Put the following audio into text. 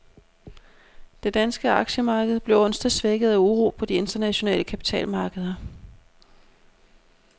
Det danske aktiemarked blev onsdag svækket af uro på de internationale kapitalmarkeder.